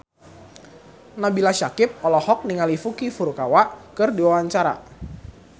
Nabila Syakieb olohok ningali Yuki Furukawa keur diwawancara